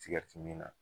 Tigɛriti mi na